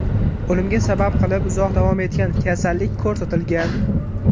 O‘limga sabab qilib uzoq davom etgan kasallik ko‘rsatilgan.